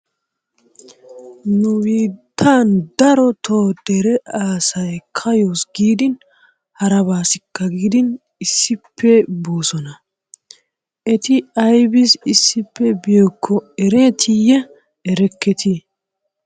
Nu biittan darotto dere asay kayyos gidin haraabassikka gidin issippe boossona. Etti ayssi issippe biyaakko erettiye erekket?